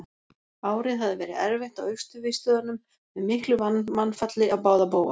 Árið hafði verið erfitt á Austurvígstöðvunum með miklu mannfalli á báða bóga.